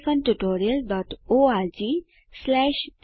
આ રીતે અહીં આ ટ્યુટોરીયલનો અંત થાય છે